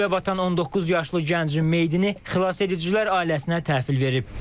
Kürdə batan 19 yaşlı gəncin meyidini xilasedicilər ailəsinə təhvil verib.